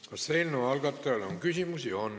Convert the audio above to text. Kas eelnõu algatajale on küsimusi?